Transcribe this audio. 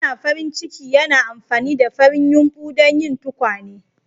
Yana farin ciki yana amfani da farin yumɓu don yin tukwane.